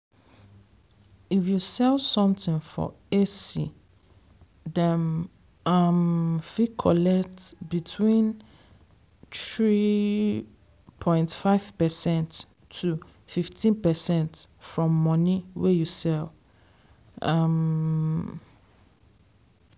if you sell something for esty dem um fit collect between three point five percent to fifteen percent from money wey you sell um.